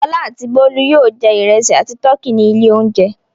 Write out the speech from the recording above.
Fọlá àti Bólú yóò jẹ ìrẹsì àti tọkí ní ilé-oúnjẹ.